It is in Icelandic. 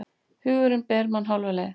Hugurinn ber mann hálfa leið.